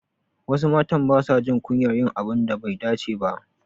Wasu matan basa jin kunyar yin abun da bai dace ba.